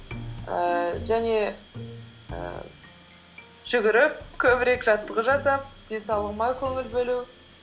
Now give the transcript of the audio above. ііі және ііі жүгіріп көбірек жаттығу жасап денсаулығыма көңіл бөлу